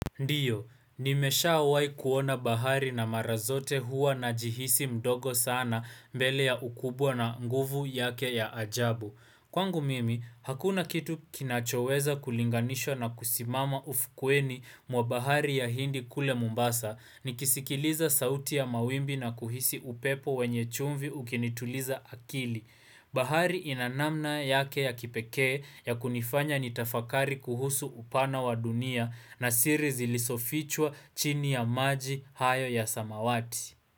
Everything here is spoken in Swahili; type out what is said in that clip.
Ndiyo, nimeshawai kuona bahari na mara zote huwa najihisi mdogo sana mbele ya ukubwa na nguvu yake ya ajabu. Kwangu mimi, hakuna kitu kinachoweza kulinganishwa na kusimama ufukweni mwa bahari ya hindi kule mombasa. Nikisikiliza sauti ya mawimbi na kuhisi upepo wenye chumvi ukinituliza akili. Bahari ina namna yake ya kipekee ya kunifanya nitafakari kuhusu upana wa dunia na siri zilisofichwa chini ya maji hayo ya samawati.